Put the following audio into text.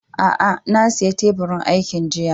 A'a, na siya teburin aikin jiya.